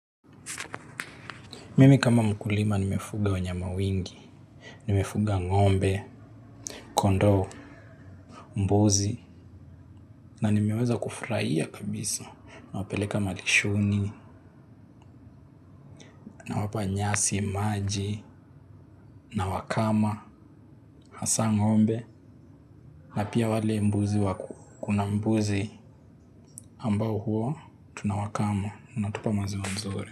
Mimi kama mkulima nimefuga wanyama wengi, nimefuga ng'ombe, kondoo, mbuzi, na nimeweza kufurahia kabisa, nawapeleka malishoni, nawapa nyasi, maji, nawakama, hasa ng'ombe, na pia wale mbuzi wa kuna mbuzi ambao huwa, tunawakama, wanatupa maziwa mzuri.